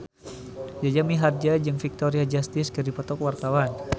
Jaja Mihardja jeung Victoria Justice keur dipoto ku wartawan